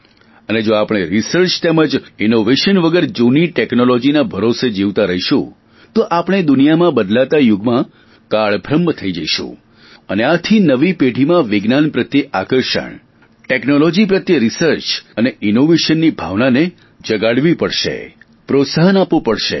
અને જો આપણે રિસર્ચ તેમ ઇનોવેશન વગર જૂની ટેકનોલોજીના ભરોસે જીવતા રહીશું તો આપણે દુનિયામાં બદલતા યુગમાં કાલ બાહ્ય થઈ જઈશું અને આથી નવી પેઢીમાં વિજ્ઞાન પ્રત્યે આકર્ષણ ટેકનોલોજી પ્રત્યે રીસર્ચ અને ઇનોવેશનની ભાવનાને જગાડવી પડશે પ્રોત્સાહન આપવું પડશે